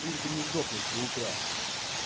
лишь бы не сдохнуть до утра